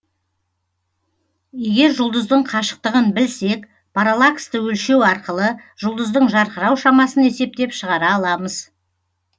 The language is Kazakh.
егер жұлдыздың қашықтығын білсек параллаксті өлшеу арқылы жұлдыздың жарқырау шамасын есептеп шығара аламыз